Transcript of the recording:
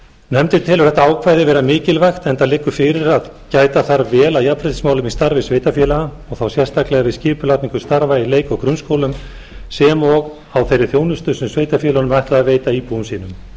nefndin telur þetta ákvæði vera mikilvægt enda liggur fyrir að gæta þarf vel að jafnréttismálum í starfi sveitarfélaga og þá sérstaklega við skipulagningu starfs í leik og grunnskólum sem og á þeirri þjónustu sem sveitarfélögunum er ætlað að veita íbúum sínum